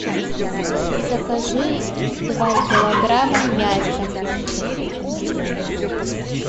закажи два килограмма мяса